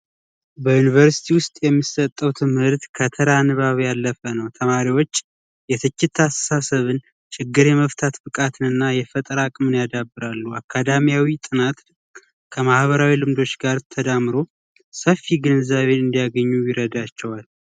በዩንቨርስቲ ውስጥ የሚሰጠው ትምህርት ከተራ ንባብ ያለፈ ነው ተማሪዎች የትችታሳብን ችግር የመፍታት ብቃትን እና የፈጠራ አቅምን ያዳብራሉ አካዳሚ ጥናት ከማህበራዊ ልምዶች ጋር ተዳምሮ ሰፊ ገንዘብ እንዲያገኙ ይረዳቸዋል